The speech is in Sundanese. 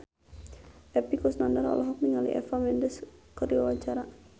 Epy Kusnandar olohok ningali Eva Mendes keur diwawancara